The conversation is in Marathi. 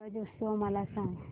ब्रज उत्सव मला सांग